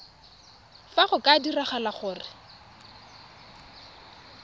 fa go ka diragala gore